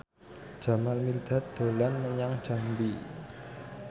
Jamal Mirdad dolan menyang Jambi